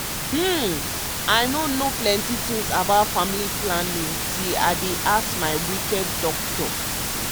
hmm i no know plenty things about family planning till i bin ask my wicked doci.